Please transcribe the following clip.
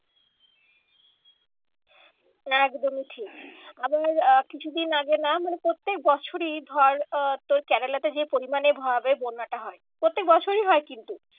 একদমই ঠিক আবার কিছুদিন আগে না মানে প্রত্যেক বছরই ধর আহ তোর কেরেলাতে যে পরিমানে বন্যাটা হয়। প্রত্যেক বছরই হয় কিন্তু।